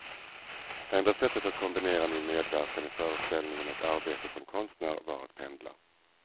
Enda sättet att kombinera min medverkan i föreställningen och arbetet som konstnär var att pendla.